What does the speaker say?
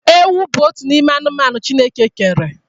Ewu bụ otu n'ime anụmanụ Chineke kere.